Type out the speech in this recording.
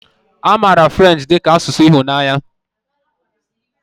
A maara French dị ka asụsụ ịhụnanya